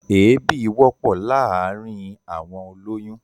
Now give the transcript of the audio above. Èébì wọ́pọ̀ láàárín àwọn olóyún.